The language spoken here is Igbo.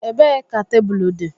Ebee ka tebụl dị?